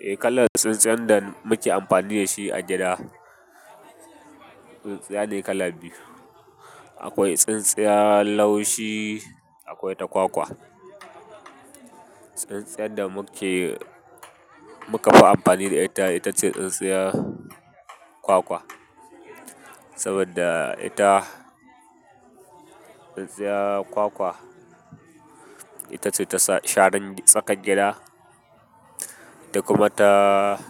Eh kalar tsintsiyan da muke amfani da shi a gida, tsintsiya ne kala biyu. Akwai tsintsiyan laushi akwai ta kwakwa tsintsiyar da muka fi umfani da ita ce tsintsiyar kwakwa saboda ita tsintsiyar kwakwa, ita ce ta sharan tsakar gida da kuma ta,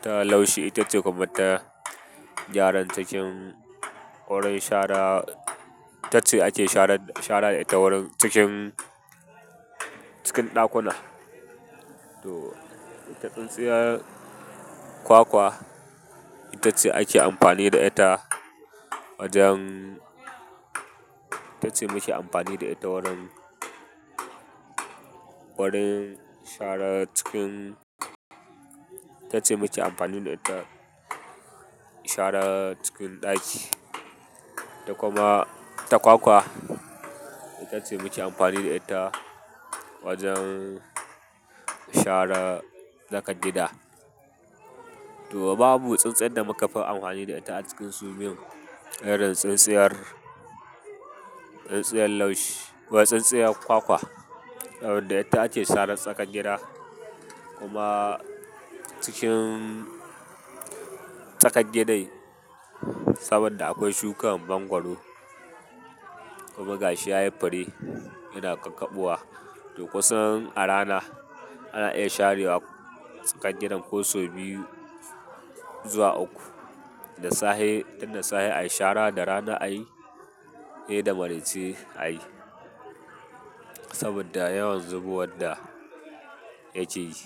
ta laushi. Ita ce kuma ta gyaran cikin wurin shara. Itace ake shara da ita wurin cikin ɗakuna. To ita tsintsiyar kwakwa, ita ce ake amfani da ita wajen, ita ce muke amfani da ita wurin, wurin shara cikin, ita ce muke amfani da ita shara cikin ɗaki. Da kuma ta kwakwa ita ce muke amfani da ita wajen shara tsakar gida. To babu tsintsiyar da mukafi umfani da ita a cikin su biyu ɗin irin tsintsiyar kwakwa saboda ita ake sharan tsakar gida kuma cikin tsakar gidan saboda akwai shuka bangwaro kuma gashi ya yi fure yana ƙaƙabowa. To kusan a rana ana iya sharewa tsakar gidan ko sau biyu zuwa uku. Tun da safe a yi shara, da rana a yi, sai da marance a yi. Saboda yawan zubo wanda yake yi.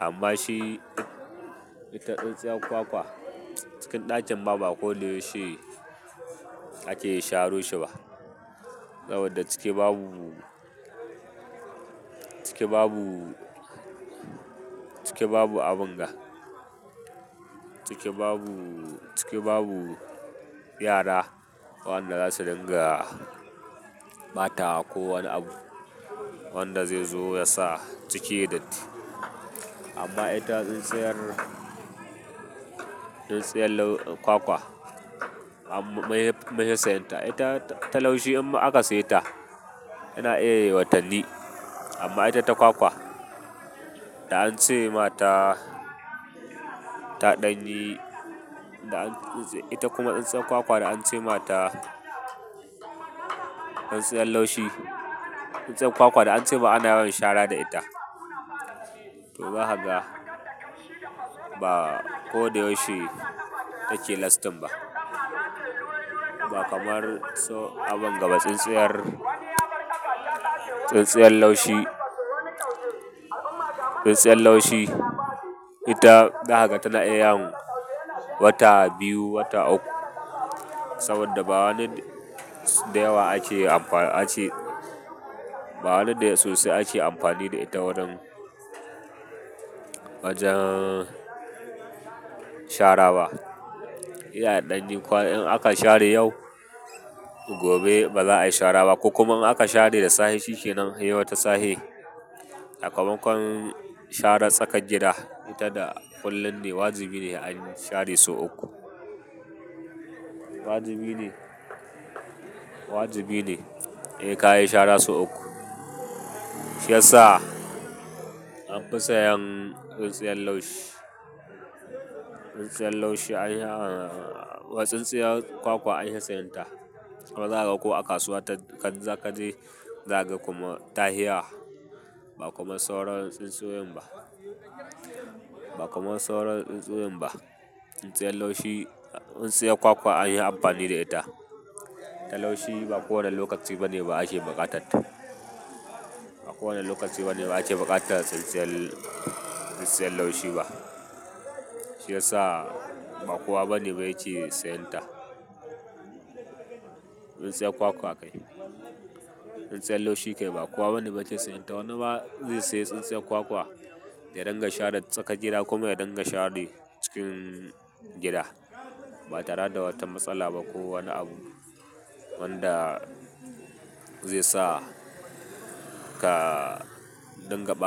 Amma shi, ita tsintsiyar kwakwa cikin ɗakin ba ma ko da yaushe ake sharo shi ba saboda cike babu, cike babu abin ga. Cike babu yara wanda za su dinga ɓata ko wani abu wanda zai zo ya sa cike yayi datti. Amma ita tsintsiyar, tsintsiyar kwakwa munfi sayan ta. Ita ta laushi in aka sayi ta yana iya yayi watanni. Amma ita ta kwakwa da ance ma ta ita kuma tsintsiyar laushi tsintsiyar kwakwa da an cema ana yawan shara da ita. To zakaga ba ko da yaushe take lastin ba. Ba kamar so, abin gaba tsintsiyar, tsintsiyar laushi, tsintsiyar laushi ita zakaga tana iya yin wata biyu, wata uku saboda ba wani dayawa ake amfani ba wani sosai ake amfani da ita wurin, wajen shara ba. Sai a ɗan yi kwana in aka share yau gobe ba za a yi shara ba. Ko kuma in aka share da safe shi kenan sai wata safe. Saka makon sharan tsakar gida ita da kullum ne. Wajibi ne a share sau uku. Wajibi ne sai ka yi shara sau uku. Shi yasa an fi sayan tsintsiyar laushi, tsintsiyar laushi an yi, wai tsintsiyar kwakwa anfi sayenta. Kuma zakaga ko a kasuwa ka je zaga kuma ta hi yawa ba kaman sauran tsintsioyin ba. Ba kuma sauran tsintsioyin ba. Tsintsiyar laushi, tsintsiyar kwakwa an yi amfani da ita. Ta laushi ba kowane lokaci bane ba ake buƙatar ta. Ba kowane lokaci bane ba ake buƙatar tsintsiyar, tsintsiyar laushi ba. Shi yasa ba kowa bane ba yake sayan ta. Tsintsiyar kwakwa kai, tsintsiyar laushi kai ba kowa bane bai ce sayan ta. Wani ma zai sayi tsintsiyar kwakwa ya dinga shara tsakar gida kuma ya dinga share cikin gida ba tare da wata matsala ba ko wani abu wanda zai sa ka dinga ɓata.